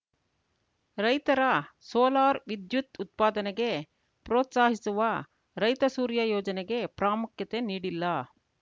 ರೈತರ ಸೋಲಾರ್‌ ವಿದ್ಯುತ್‌ ಉತ್ಪಾದನೆಗೆ ಪ್ರೋತ್ಸಾಹಿಸುವ ರೈತ ಸೂರ್ಯ ಯೋಜನೆಗೆ ಪ್ರಾಮುಖ್ಯತೆ ನೀಡಿಲ್ಲ